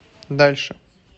дальше